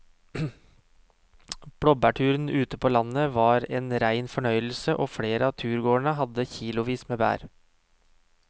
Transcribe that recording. Blåbærturen ute på landet var en rein fornøyelse og flere av turgåerene hadde kilosvis med bær.